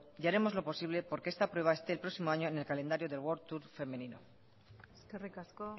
y haremos lo posible porque esta pruebe esté el próximo año en el calendario de worldtour femenino eskerrik asko